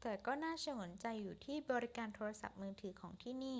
แต่ก็น่าฉงนใจอยู่ที่บริการโทรศัพท์มือถือของที่นี่